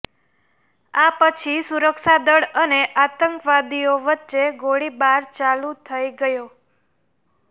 આ પછી સુરક્ષા દળ અને આતંકવાદીઓ વચ્ચે ગોળીબાર ચાલુ થઈ ગયો